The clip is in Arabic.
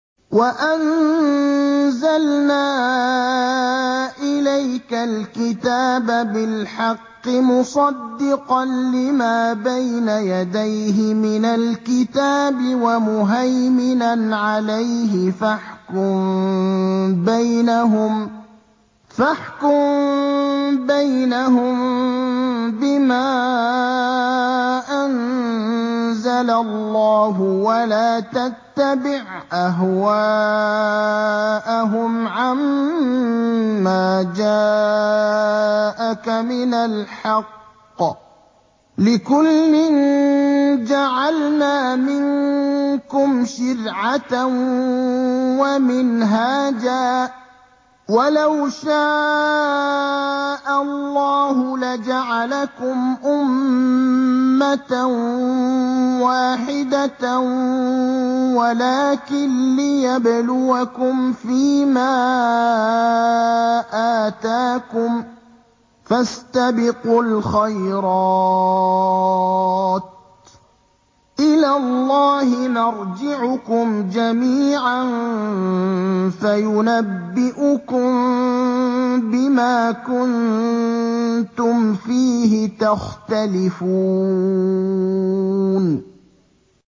وَأَنزَلْنَا إِلَيْكَ الْكِتَابَ بِالْحَقِّ مُصَدِّقًا لِّمَا بَيْنَ يَدَيْهِ مِنَ الْكِتَابِ وَمُهَيْمِنًا عَلَيْهِ ۖ فَاحْكُم بَيْنَهُم بِمَا أَنزَلَ اللَّهُ ۖ وَلَا تَتَّبِعْ أَهْوَاءَهُمْ عَمَّا جَاءَكَ مِنَ الْحَقِّ ۚ لِكُلٍّ جَعَلْنَا مِنكُمْ شِرْعَةً وَمِنْهَاجًا ۚ وَلَوْ شَاءَ اللَّهُ لَجَعَلَكُمْ أُمَّةً وَاحِدَةً وَلَٰكِن لِّيَبْلُوَكُمْ فِي مَا آتَاكُمْ ۖ فَاسْتَبِقُوا الْخَيْرَاتِ ۚ إِلَى اللَّهِ مَرْجِعُكُمْ جَمِيعًا فَيُنَبِّئُكُم بِمَا كُنتُمْ فِيهِ تَخْتَلِفُونَ